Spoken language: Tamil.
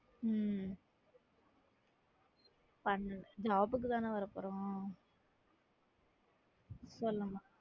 உம் பண்ணு job க்கு தானே வரப்போறோம்